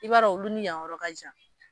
I b'a dɔn olu ni yan yɔrɔ ka jan